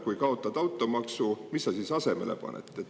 Kui kaotate automaksu, mis siis asemele panete?